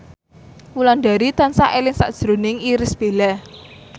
Wulandari tansah eling sakjroning Irish Bella